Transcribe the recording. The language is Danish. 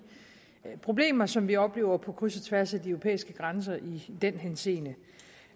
problemer som vi oplever på kryds og tværs af de europæiske grænser i den henseende